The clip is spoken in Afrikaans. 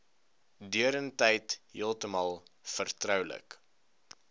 deurentyd heeltemal vertroulik